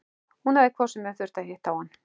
Hún hafi hvort sem er þurft að hitta á hann.